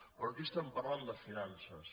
però aquí es·tem parlant de finances